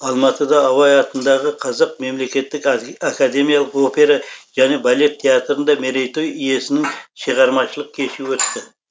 алматыда абай атындағы қазақ мемлекеттік академиялық опера және балет театрында мерейтой иесінің шығармашылық кеші өтті